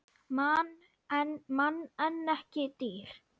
Mann en ekki dýr.